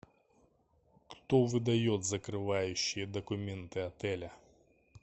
кто выдает закрывающие документы отеля